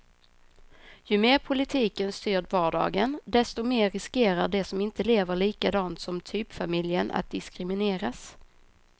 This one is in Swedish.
Ju mer politiken styr vardagen, desto mer riskerar de som inte lever likadant som typfamiljen att diskrimineras.